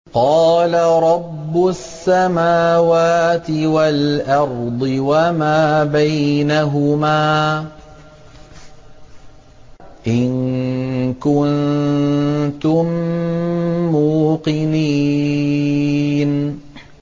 قَالَ رَبُّ السَّمَاوَاتِ وَالْأَرْضِ وَمَا بَيْنَهُمَا ۖ إِن كُنتُم مُّوقِنِينَ